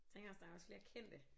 Tænker også der er også flere kendte